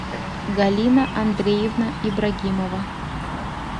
галина андреевна ибрагимова